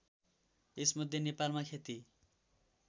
यसमध्ये नेपालमा खेती